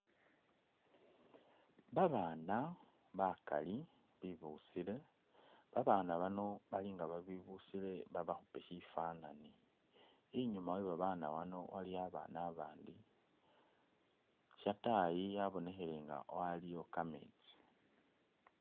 Babana bakali bibusile babana bano bali nga ibibusile babakhupe shifanani, inyuma we babana bano waliyo abana abandi ,shatayi yabonekhele nga aliwo kamesti.